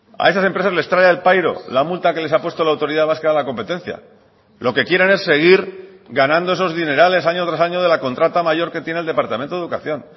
a esas empresas les trae al pairo la multa que les ha puesto la autoridad vasca de la competencia lo que quieren es seguir ganando esos dinerales año tras año de la contrata mayor que tiene el departamento de educación